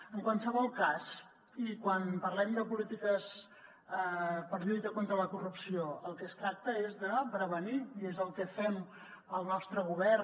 en qualsevol cas i quan parlem de polítiques per lluita contra la corrupció el que es tracta és de prevenir i és el que fa el nostre govern